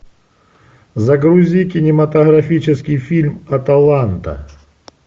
загрузи кинематографический фильм аталанта